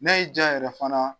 N'a y'i diya yɛrɛ fana.